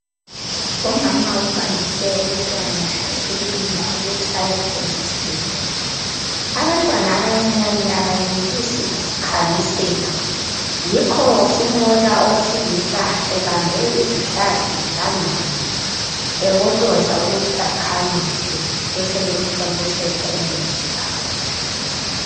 umama uhambise umntwana ekilinika ukuthi aye thontiselwa abantwana abancinyane abayenelisi kuzikhamisela yikho simbona owesilisa ebambe izihlathi zikanana ebotoza ukuthi akhamise besebemu thontisela umuthi phakathi